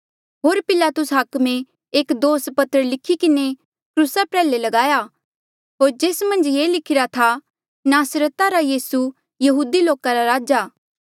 होर पिलातुस हाकमे एक दोस पत्र लिखी किन्हें क्रूसा प्रयाल्हे लगाया होर जेस मन्झ ये लिखिरा था नासरता रा यीसू यहूदी लोका रा राजा